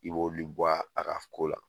I b'oli bɔ a ka ko la.